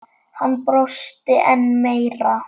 Hann brosti enn meira.